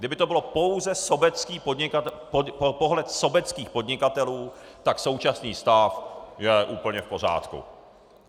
Kdyby to byl pouze pohled sobeckých podnikatelů, tak současný stav je úplně v pořádku.